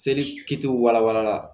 Seli kitiw walawala